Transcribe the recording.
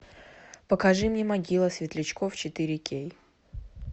покажи мне могилы светлячков четыре кей